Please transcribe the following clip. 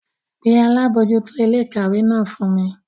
Pe Alabojuto ile-ikawe náà fun mi!